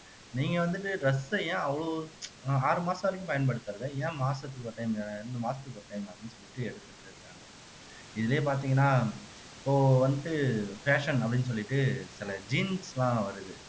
நீங்க வந்துட்டு dress அ ஏன் அவ்வளவு அஹ் ஆறு மாசம் வரைக்கும் பயன்படுத்துறது ஏன் மாசத்துக்கு ஒரு time இரண்டு மாசத்துக்கு ஒரு time அப்படின்னு சொல்லிட்டு எடுத்துட்டு இருக்காங்க இதுலையே பார்த்தீங்கன்னா இப்போ வந்துட்டு fashion அப்படின்னு சொல்லிட்டு சில jeans எல்லாம் வருது